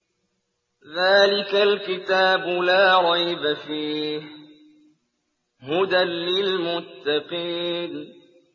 ذَٰلِكَ الْكِتَابُ لَا رَيْبَ ۛ فِيهِ ۛ هُدًى لِّلْمُتَّقِينَ